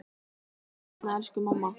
Sjáumst seinna, elsku mamma.